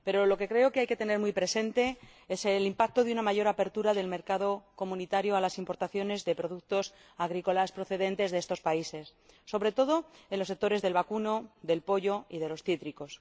Pero lo que creo que hay que tener muy presente es el impacto de una mayor apertura del mercado comunitario a las importaciones de productos agrícolas procedentes de estos países, sobre todo en los sectores del vacuno, del pollo y de los cítricos.